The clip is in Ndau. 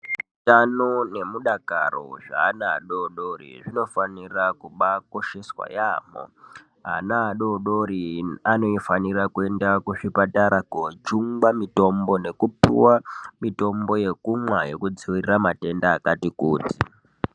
Utano nemudakaro zveana adoko zvinofanira kubakosheswa yampho ana adodori anofanira kuenda kuzvipatara kojungwa mitombo nekupuwa mitombo yekumwa yekudziirira matenda akati kuti.